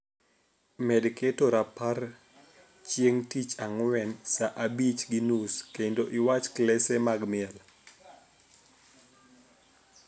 Med keto rapar chieng' tich ang'wen saa abich gi nus kendo iwach klese mag miel